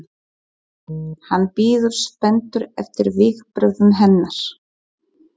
Hann bíður spenntur eftir viðbrögðum hennar.